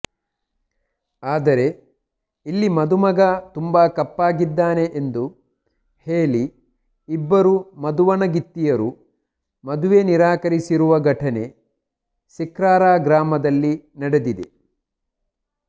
ಆದರೆ ಇಲ್ಲಿ ಮದುಮಗ ತುಂಬಾ ಕಪ್ಪಗಿದ್ದಾನೆ ಎಂದು ಹೇಳಿ ಇಬ್ಬರು ಮದುವಣಗಿತ್ತಿಯರು ಮದುವೆ ನಿರಾಕರಿಸಿರುವ ಘಟನೆ ಸಿಕ್ರಾರಾ ಗ್ರಾಮದಲ್ಲಿ ನಡೆದಿದೆ